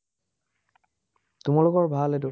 তোমালোকৰ ভাল এটো,